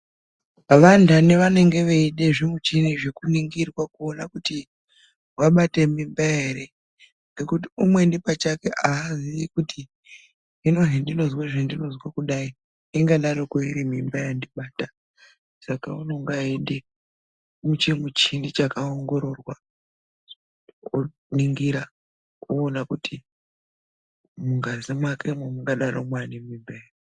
Vanthani vanenge veide zvimuchini zvekuningirwa, kuona kuti vabate mimba ere. Ngekuti umweni pachake aazii kuti hino hendinozwa zvendinozwa kudai, ingadaroko iri mimba yandibata. Saka unonga eide chimuchini chakaongororwa, kuningira kuona kuti mungazi mwakemwo mungadaro mwaane mimba ere.